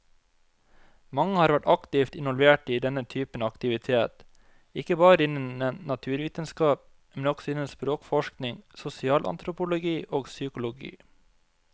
Mange har vært aktivt involvert i denne typen aktivitet, ikke bare innen naturvitenskap, men også innen språkforskning, sosialantropologi og psykologi.